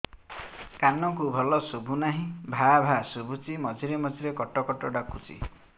କାନକୁ ଭଲ ଶୁଭୁ ନାହିଁ ଭାଆ ଭାଆ ଶୁଭୁଚି ମଝିରେ ମଝିରେ କଟ କଟ ଡାକୁଚି